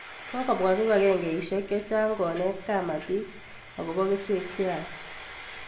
Kokopwa kipakengeisyek chechang' konet kapatik akopo keswek che yaach